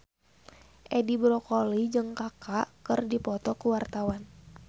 Edi Brokoli jeung Kaka keur dipoto ku wartawan